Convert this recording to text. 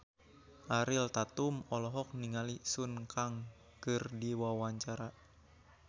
Ariel Tatum olohok ningali Sun Kang keur diwawancara